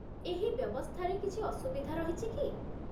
ଏହି ବ୍ୟବସ୍ଥାରେ କିଛି ଅସୁବିଧା ରହିଛି କି ?